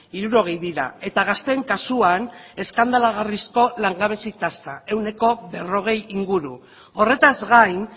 hirurogei dira eta gazteen kasuan eskandalagarrizko langabezi tasa ehuneko berrogei inguru horretaz gain